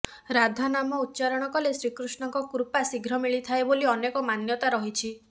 ରାଧା ନାମ ଉଚ୍ଚାରଣ କଲେ ଶ୍ରୀକୃଷ୍ଣଙ୍କ କୃପା ଶ୍ରୀଘ୍ର ମିଳିଥାଏ ବୋଲି ଅନେକ ମାନ୍ୟତା ରହିଛି